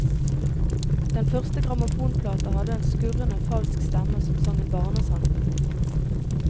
Den første grammofonplata hadde en skurrende, falsk stemme som sang en barnesang.